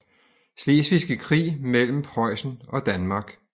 Slesvigske Krig mellem Preussen og Danmark